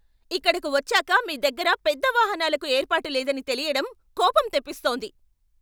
ఇక్కడకు వచ్చాక మీ దగ్గర పెద్ద వాహనాలకు ఏర్పాటు లేదని తెలియడం కోపం తెప్పిస్తోంది.